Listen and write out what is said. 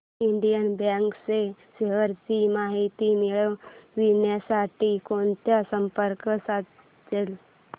Indian Bank च्या shares ची माहिती मिळविण्यासाठी कोणाला संपर्क साधायचा